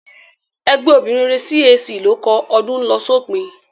Ẹgbẹ́ obìnrin rere CAC ló kọ "Ọdún ń lọ sópin"